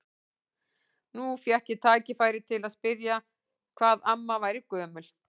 Nú fékk ég tækifæri til að spyrja hvað amma væri gömul.